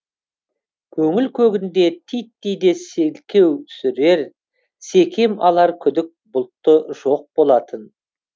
көңіл көгінде титтей де селкеу түсірер секем алар күдік бұлты жоқ болатын